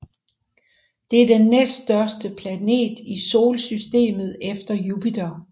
Det er den næststørste planet i solsystemet efter Jupiter